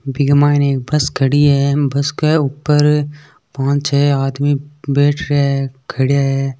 Big mine bus खड़ी है bus के ऊपर पाँच छह आदमी बैठ रहे है खड़ीया है।